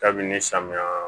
Dabinini samiya